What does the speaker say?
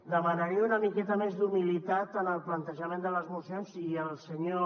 demanaria una miqueta més d’humilitat en el plantejament de les mocions i el senyor